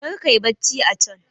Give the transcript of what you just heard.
karka yi bacci a can!